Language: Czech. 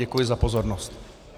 Děkuji za pozornost.